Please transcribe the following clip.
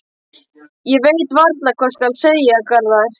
Ég veit varla hvað skal segja, Garðar.